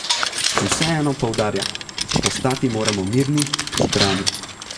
Vseeno poudarja: 'Ostati moramo mirni, zbrani.